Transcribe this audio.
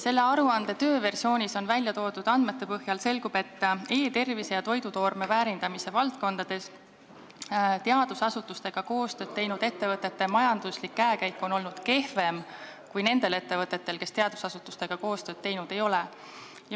Selle aruande tööversioonis välja toodud andmete põhjal selgub, et e-tervise ja toidutoorme väärindamise valdkondades teadusasutustega koostööd teinud ettevõtete majanduslik käekäik on olnud kehvem kui nendel ettevõtetel, kes teadusasutustega koostööd teinud ei ole.